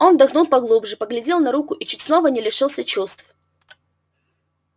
он вдохнул поглубже поглядел на руку и чуть снова не лишился чувств